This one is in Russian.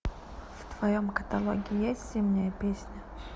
в твоем каталоге есть зимняя песня